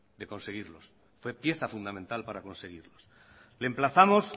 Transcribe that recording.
de conseguirlos fue pieza fundamental para conseguirlos le emplazamos